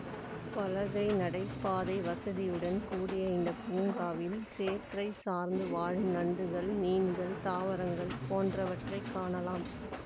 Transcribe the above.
பலகை நடைபாதை வசதியுடன் கூடிய இந்த பூங்காவில் சேற்றை சார்ந்து வாழும் நண்டுகள் மீன்கள் தாவரங்கள் போன்றவற்றை காணலாம்